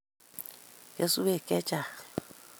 kesweek che chang'